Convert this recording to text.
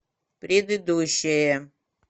предыдущая